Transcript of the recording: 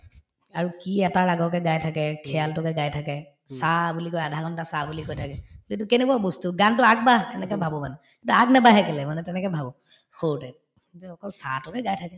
আৰু কি এটা ৰাগকে গাই থাকে গাই থাকে সা বুলি কৈ আধা ঘণ্টা সা বুলি কৈ থাকে তে এইটো কেনেকুৱা বস্তু গানটো আগবাঢ় এনেকে ভাবো মানে কিন্তু আগনাবাঢ়ে কেলেই মানে তেনেকে ভাবো সৰুতে যে অকল সা তোকে গাই থাকে